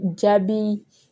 Jaabi